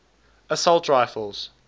assault rifles